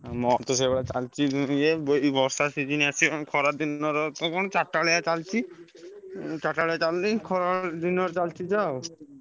ମୋର ତ ସେଇଭଳିଆ ଚାଲିଛି ଇଏ ଏଇ ବର୍ଷା season ଆସିଲାଣି ଖରା ଦିନର ହବ କଣ ଚାରିଟା ବେଳିଆ ଚାଲିଛି। ଚାରିଟା ବେଳିଆ ଚାଲିଛି ଖରା ଦିନ ଚାଲିଛି ଯାହା ଆଉ।